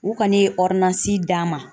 U kɔni ye d'a ma